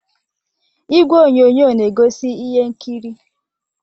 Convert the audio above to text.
Igwe onyonyo na egosi ihe nkiri.